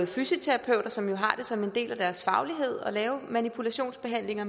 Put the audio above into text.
fysioterapeuter som jo har det som en del af deres faglighed at lave manipulationsbehandlinger